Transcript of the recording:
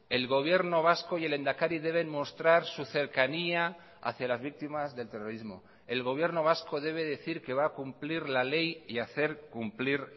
el gobierno vasco y el lehendakari deben mostrar su cercanía hacía las víctimas del terrorismo el gobierno vasco debe decir que va a cumplir la ley y hacer cumplir